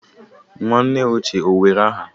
Nwanne uche o were aha?